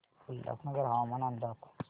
उल्हासनगर हवामान अंदाज